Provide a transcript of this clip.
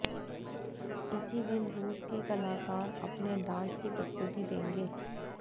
इसी दिन रूस के कलाकार अपने डांस की प्रस्तुति देंगे